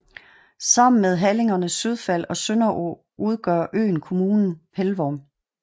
Sammen med halligerne Sydfald og Sønderog udgør øen kommunen Pelvorm